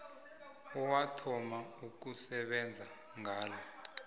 owathoma ukusebenza ngalo